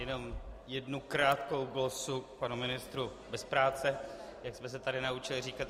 Jenom jednu krátkou glosu k panu ministru bez práce, jak jsme se tady naučili říkat.